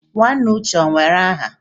Nwanne uche o were aha?